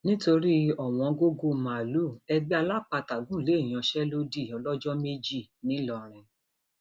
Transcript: nítorí ọwọngọgọ màálùú ẹgbẹ alápatà gùn lé ìyanṣẹlódì ọlọjọ méjì ńlọrọrin